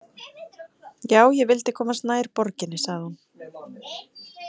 Já, ég vildi komast nær borginni, sagði hún.